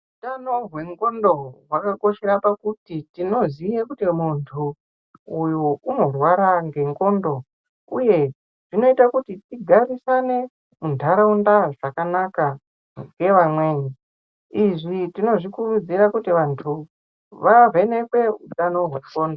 Utano hwendxondo hwakakoshera pakuti tinoziye kuti munthu uyu unorwara ngendxondo uye zvinoite kuti tigarisane muntharaunda zvakanaka ngevamweni izvi tinozvikurudzira kuti vanthu vavhenekwe utano hwendxondo.